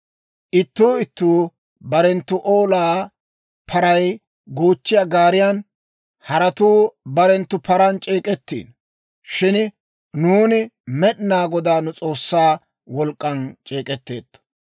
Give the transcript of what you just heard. Ittuu ittuu barenttu olaa paray goochchiyaa gaariyan, Haratuu barenttu paran c'eek'ettiino; shin nuuni Med'inaa Godaa nu S'oossaa wolk'k'an c'eek'etteetto.